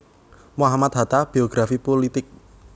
Mohammad Hatta Biografi Pulitik